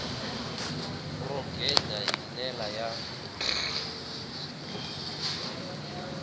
ro gega hi ndlela ya